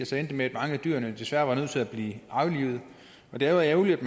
det endte med at mange af dyrene desværre var nødt til at blive aflivet det er jo ærgerligt at